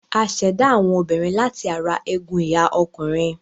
A ṣ'èdá àwọn obìnrin láti ara egun ìhà ọkùnrin.